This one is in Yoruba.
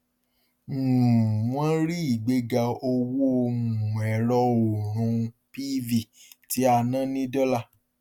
um wọn rí ìgbéga owó um ẹrọ òòrùn pv tí a ná ní dọlà